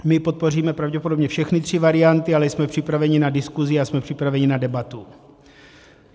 My podpoříme pravděpodobně všechny ty varianty, ale jsme připraveni na diskusi a jsme připraveni na debatu.